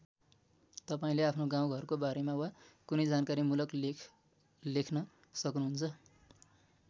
तपाईँले आफ्नो गाउँघरको बारेमा वा कुनै जानकारीमूलक लेख लेख्न सक्नुहुन्छ।